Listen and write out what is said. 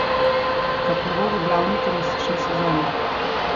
Kako bo v glavni turistični sezoni?